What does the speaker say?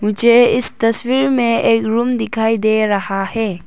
जे इस तस्वीर में एक रूम दिखाई दे रहा है।